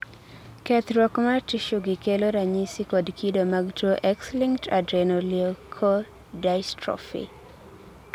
kethruok mar tissuegi kelo ranyisi kod kido mag tuwo X-linked adrenoleukodystrophy.